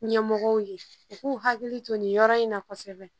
Ɲɛ mɔgɔw ye, u k'u hakili to nin yɔrɔ in na kosɛbɛ